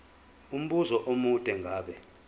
umbuzo omude ngabe